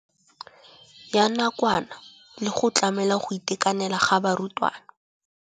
ya nakwana le go tlamela go itekanela ga barutwana.